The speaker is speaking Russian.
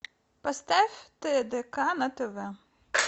поставь тдк на тв